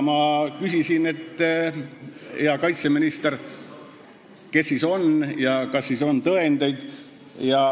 Ma küsisin healt kaitseministrilt, kes siis on need agendid ja kas on tõendeid.